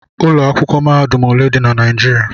Ụlọ akwụkwọ mahadum ole dị na Naijiriia?